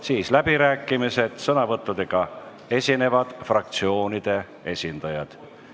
Järgnevad läbirääkimised, kus sõnavõttudega esinevad fraktsioonide esindajad.